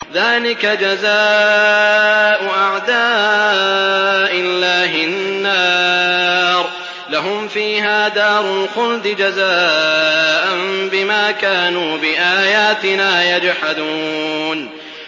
ذَٰلِكَ جَزَاءُ أَعْدَاءِ اللَّهِ النَّارُ ۖ لَهُمْ فِيهَا دَارُ الْخُلْدِ ۖ جَزَاءً بِمَا كَانُوا بِآيَاتِنَا يَجْحَدُونَ